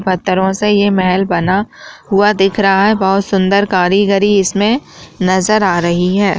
पठारों से ये मेहल बना हुआ दिख रहा है बहुत सुंदर कारीगरी इसमें नजर आ रही है।